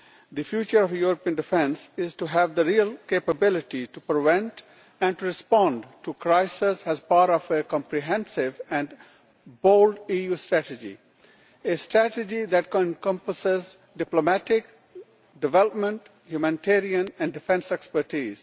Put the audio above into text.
The future of European defence is to have the real capability to prevent and respond to crises as part of a comprehensive and bold EU strategy a strategy that comprises diplomatic, development, humanitarian and defence expertise